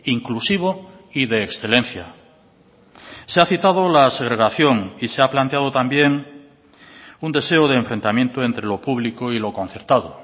inclusivo y de excelencia se ha citado la segregación y se ha planteado también un deseo de enfrentamiento entre lo público y lo concertado